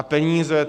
A peníze?